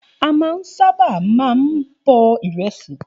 A máa ń sáábà máa ń bọ ìrẹsì